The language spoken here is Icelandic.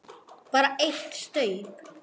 Bara eitt staup, sagði Lóa.